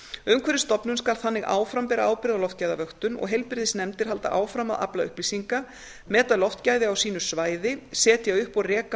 umhverfisstofnun skal þannig áfram bera ábyrgð á loftgæðavöktun og heilbrigðisnefndir halda áfram að afla upplýsinga meta loftgæði á sínu svæði setja upp og reka